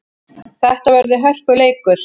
Þetta verður hörkuleikur!